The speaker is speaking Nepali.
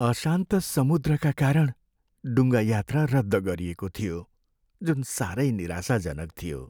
अशान्त समुद्रका कारण डुङ्गा यात्रा रद्द गरिएको थियो, जुन सारै निराशाजनक थियो।